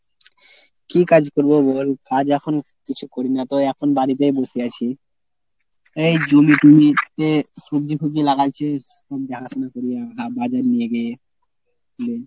কী কাজ করবো বল? কাজ এখন কিছু করি না তো এখন বাড়িতেই বসে আছি। এই জমি টমি তে সবজি ফবজি লাগাচ্ছি সেই দেখাশুনা করি, বাজারে নিয়ে গিয়ে